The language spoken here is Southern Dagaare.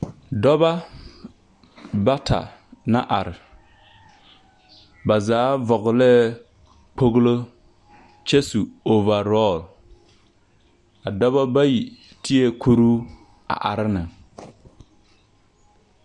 Dͻbͻ bata na are, ba zaa vͻgelee kpogilo kyԑ su ͻͻvaorͻl. A dͻbͻ bayi tee kuruu a are neŋ.